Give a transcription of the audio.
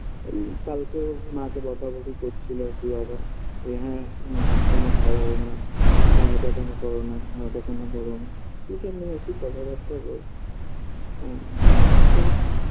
এই কালকে মাকে বকাবকি করছিল আর কি বাবা যে হ্যাঁ তুমি ওষুধ কেন খাওয়াও না হ্যাঁ এটা কেন করো না হ্যাঁ ওটা কেন করো না এসব নিয়ে আরকি কথাবার্তা বলছিল হ্যাঁ তো